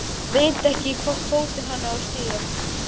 Veit ekki í hvorn fótinn hann á að stíga.